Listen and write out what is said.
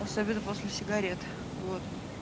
особенно после сигарет вот